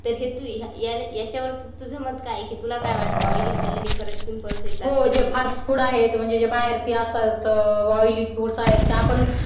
तो हेतू याच्यावर तुझं मत काय आहे की तुला वाटतं की oily खाल्ल्याने खरच पिंपल्स येतात हो जे फास्ट फूड आहे म्हणजे बाहेर असतात ते oily foods आहेत